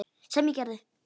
Sem ég gerði.